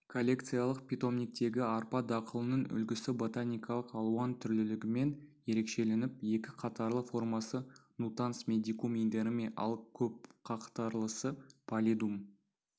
коллекциялық питомниктегі арпа дақылының үлгісі ботаникалық алуан түрлілігімен ерекшеленіп екі қатарлы формасы нутанс медикум инерме ал көпқатарлысы паллидум